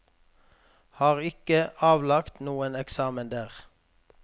Har ikke avlagt noen eksamen der.